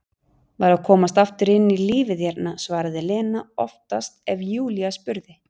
Var að komast aftur inn í lífið hérna, svaraði Lena oftast ef Júlía spurði.